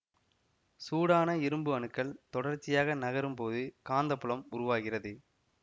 சூடான இரும்பு அணுக்கள் தொடர்ச்சியாக நகரும் போது காந்தப்புலம் உருவாகிறது